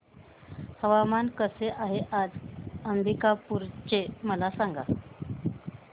हवामान कसे आहे आज अंबिकापूर चे मला सांगा